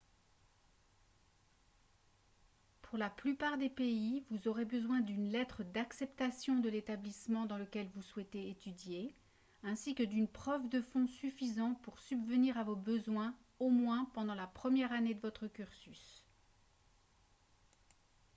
pour la plupart des pays vous aurez besoin d'une lettre d'acceptation de l'établissement dans lequel vous souhaitez étudier ainsi que d'une preuve de fonds suffisants pour subvenir à vos besoins au moins pendant la première année de votre cursus